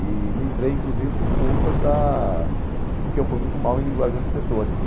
E não entrei, inclusive, por conta da de que eu fui muito mal em linguagem arquitetônica.